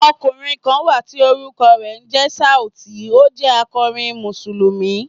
Ọkùnrin kan wà tí orúkọ rẹ̀ ń jẹ́ Sauti, ó jẹ́ akọrin Mùsùlùmí.